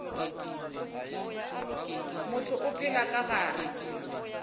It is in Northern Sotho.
motho o phela ka gare